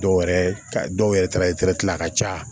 Dɔw yɛrɛ ka dɔw yɛrɛ ta ye a ka ca